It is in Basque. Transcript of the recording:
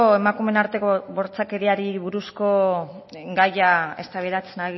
emakumeen arteko bortxakeriari buruzko gaia eztabaidatzen